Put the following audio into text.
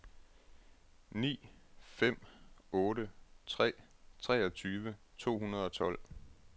ni fem otte tre treogtyve to hundrede og tolv